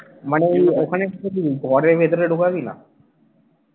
মানে ওখানে কি তুই ঘরের ভেতরে ঢোকাবি না?